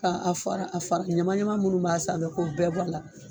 ka a a fara a fara ɲama ɲama minnu b'a sanfɛ k'o bɛɛ bɔ a la.